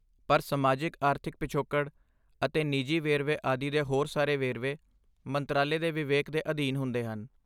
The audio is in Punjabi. ਪਰ ਸਮਾਜਿਕ ਆਰਥਿਕ ਪਿਛੋਕੜ ਅਤੇ ਨਿੱਜੀ ਵੇਰਵੇ ਆਦਿ ਦੇ ਹੋਰ ਸਾਰੇ ਵੇਰਵੇ ਮੰਤਰਾਲੇ ਦੇ ਵਿਵੇਕ ਦੇ ਅਧੀਨ ਹੁੰਦੇ ਹਨ